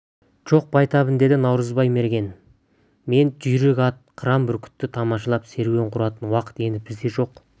жоқ байтабын деді наурызбай мерген мен жүйрік ат қыран бүркітті тамашалап серуен құратын уақыт енді бізде жоқ